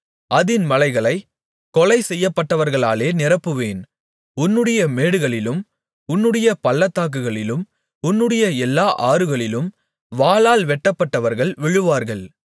அதின் மலைகளைக் கொலை செய்யப்பட்டவர்களாலே நிரப்புவேன் உன்னுடைய மேடுகளிலும் உன்னுடைய பள்ளத்தாக்குகளிலும் உன்னுடைய எல்லா ஆறுகளிலும் வாளால் வெட்டப்பட்டவர்கள் விழுவார்கள்